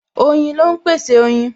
Oyin ló ń pèsè oyin